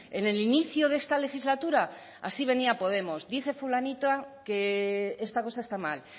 en el inicio de esta legislatura así venía podemos dice fulanita que esta cosa está mal